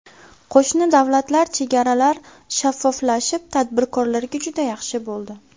Qo‘shni davlatlar chegaralar shaffoflashib, tadbirkorlarga juda yaxshi bo‘ldi.